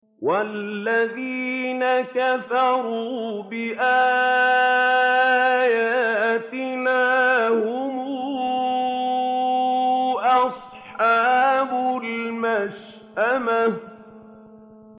وَالَّذِينَ كَفَرُوا بِآيَاتِنَا هُمْ أَصْحَابُ الْمَشْأَمَةِ